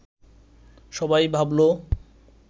সবাই ভাবল